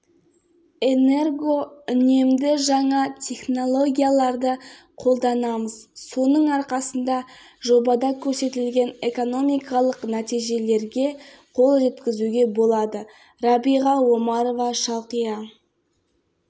кәсіпорында адам жұмыс істейді ал жаңа фабрика салына бастағанда мыңдай жұмыс орны ашылады жоба толық іске